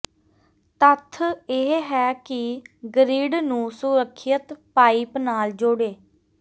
ਤੱਥ ਇਹ ਹੈ ਕਿ ਗਰਿੱਡ ਨੂੰ ਸੁਰੱਖਿਅਤ ਪਾਈਪ ਨਾਲ ਜੁੜੇ